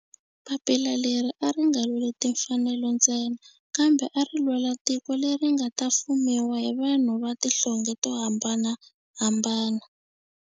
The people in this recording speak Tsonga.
Papila leri a ri nga lweli timfanelo ntsena kambe ari lwela tiko leri nga ta fumiwa hi vanhu va tihlonge to hambanahambana.